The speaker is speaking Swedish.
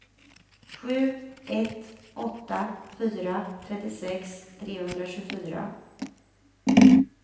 sju ett åtta fyra trettiosex trehundratjugofyra